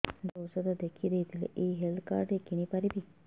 doctor ଔଷଧ ଲେଖିଦେଇଥିଲେ ଏଇ ହେଲ୍ଥ କାର୍ଡ ରେ କିଣିପାରିବି